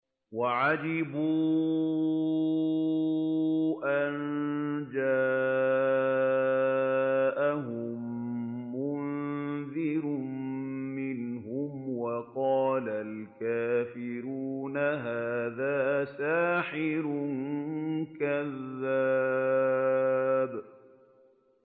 وَعَجِبُوا أَن جَاءَهُم مُّنذِرٌ مِّنْهُمْ ۖ وَقَالَ الْكَافِرُونَ هَٰذَا سَاحِرٌ كَذَّابٌ